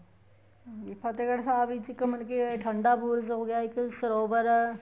ਹਾਂਜੀ ਫਤਿਹਗੜ੍ਹ ਸਾਹਿਬ ਚ ਇੱਕ ਮਤਲਬ ਕੇ ਠੰਡਾ ਬੁਰਜ ਹੋ ਗਿਆ ਇੱਕ ਸਰੋਵਰ